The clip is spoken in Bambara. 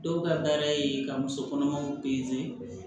Dɔw ka baara ye ka musokɔnɔmaw